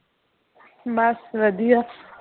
ਬਸ ਵਧੀਆ